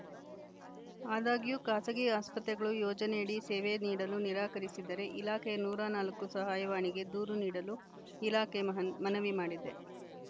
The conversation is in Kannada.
ಆದಾಗ್ಯೂ ಖಾಸಗಿ ಆಸ್ಪತ್ರೆಗಳು ಯೋಜನೆಯಡಿ ಸೇವೆ ನೀಡಲು ನಿರಾಕರಿಸಿದರೆ ಇಲಾಖೆಯ ನೂರ ನಾಲ್ಕು ಸಹಾಯವಾಣಿಗೆ ದೂರು ನೀಡಲು ಇಲಾಖೆ ಮಹನ್ ಮನವಿ ಮಾಡಿದೆ